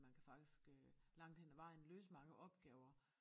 Man kan faktisk øh langt hen ad vejen løse mange opgaver